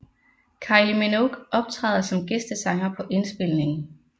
Kylie Minogue optræder som gæstesanger på indspilningen